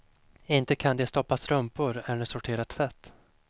Inte kan de stoppa strumpor eller sortera tvätt.